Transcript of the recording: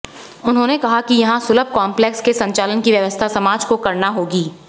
उन्होंने कहा कि यहाँ सुलभ कॉम्पलेक्स के संचालन की व्यवस्था समाज को करना होगी